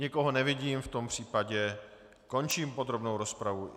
Nikoho nevidím, v tom případě končím podrobnou rozpravu.